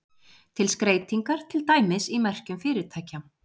Til skreytingar, til dæmis í merkjum fyrirtækja.